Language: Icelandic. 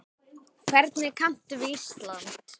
Hvernig kanntu við Ísland?